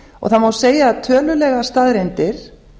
það má segja að tölulegar staðreyndir